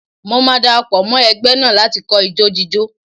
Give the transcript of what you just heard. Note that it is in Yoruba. Mo máa dara pọ̀ mọ́ ẹgbẹ́ náà láti kọ́ ijó jíjó.